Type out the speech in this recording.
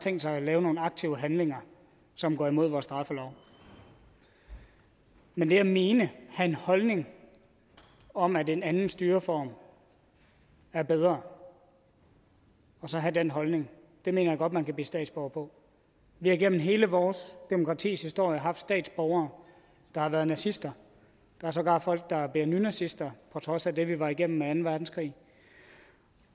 tænkt sig at lave nogle aktive handlinger som går imod vores straffelov men det at mene have en holdning om at en anden styreform er bedre og så have den holdning mener jeg godt man kan blive statsborger på vi har igennem hele vores demokratis historie haft statsborgere der har været nazister der er sågar folk der bliver nynazister på trods af det vi var igennem i anden verdenskrig